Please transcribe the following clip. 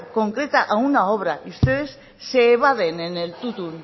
concreta a una obra y ustedes se evaden en el tuntún